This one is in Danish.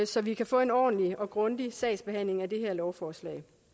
så vi kan få en ordentlig og grundig sagsbehandling af det her lovforslag